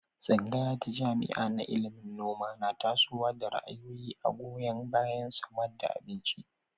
Tsangaya ta jami'a na ilimin noma na tasowa da ra'ayoyi a'goyon bayan samad da abinci.